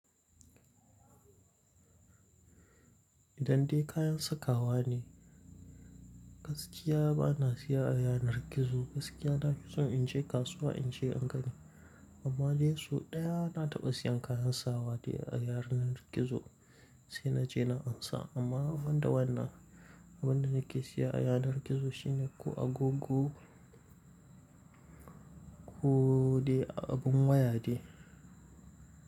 Idan dai kayan sakawa ne, gaskiya bana siya a yanar gizo. Gaskiya na fi son in je kasuwa in je in gani. Amma dai sau ɗaya na taɓa siyan kayan sawa dai a yanar gizo sai na je na ansa. Amma banda wannan, abin da nake siya a yanar gizo shine ko agogo ko dai abin waya dai.